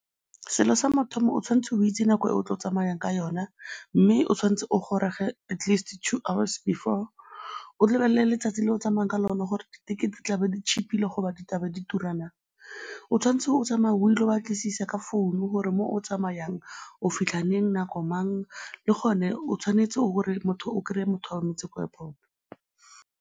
Selo sa mathomo o tshwanetse o itse nako e o tla tsamayang ka yona mme o tshwanetse o goroge at least two hours before. O lebelele letsatsi le o tsamayang ka lone gore dithekete di tlabe cheap-ile go ba di tla be di tura naa. O tshwanetse o tsamaye o ile go batlisisa ka founu gore mo o tsamayang o fitlha leng, nako mang, le gone o tshwanetse o kry-e motho a go emetse ko airport.